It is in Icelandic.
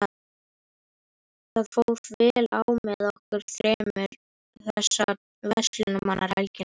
Það fór vel á með okkur þremur þessa verslunarmannahelgi.